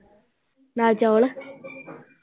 ਦਾਲ ਚੌਲ।